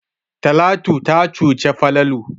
Talatu ta cuci Falalu.